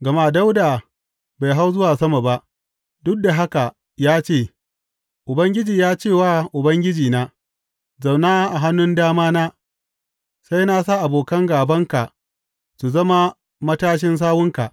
Gama Dawuda bai hau zuwa sama ba, duk da haka ya ce, Ubangiji ya ce wa Ubangijina, Zauna a hannun damana, sai na sa abokan gābanka su zama matashin sawunka.